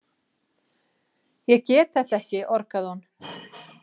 Ég get þetta ekki, orgaði hún.